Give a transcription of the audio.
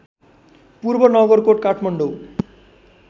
पूर्व नगरकोट काठमाडौँ